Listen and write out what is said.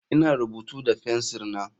Ina rubutu da fensir na.